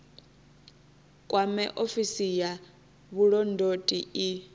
kwame ofisi ya vhulondoti i